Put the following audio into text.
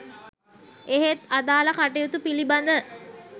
එහෙත් අදාල කටයුතු පිලිබඳ